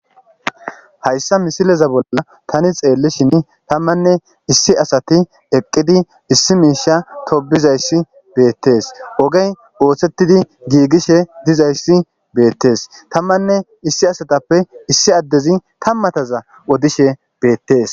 Hayssa misileza bolla tani xeellishin tammanne issi asati eqqidi issi miisha tobizayssi beettees ogey ooththettidi giigishe dizayssi beettees tammanne issi asatappe issi addezi tammataza odishe beettees.